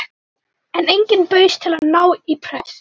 En enginn bauðst til að ná í prest.